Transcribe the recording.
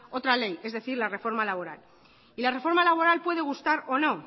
otra ley es decir la reforma laboral y la reforma laboral puede gustar o no